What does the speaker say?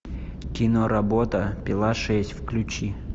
киноработа пила шесть включи